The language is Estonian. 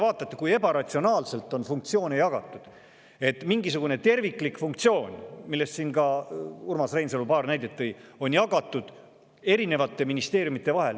Vaadake, kui ebaratsionaalselt on funktsioone jagatud – mingisugune terviklik funktsioon, mille kohta ka Urmas Reinsalu siin enne paar näidet tõi, on jagatud eri ministeeriumide vahel.